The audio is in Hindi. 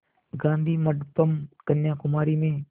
गाधी मंडपम् कन्याकुमारी में